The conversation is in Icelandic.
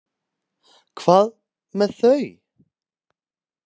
Hvað með þau?